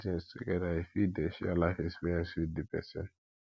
from doing things together you fit de share your life experience with di persin